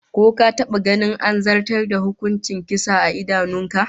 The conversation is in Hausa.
Ko ka taba ganin an zartas da hukuncin kisa a idanun ka?